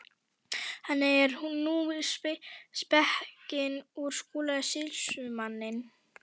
Þannig er nú spekin úr Skúla sýslumanni.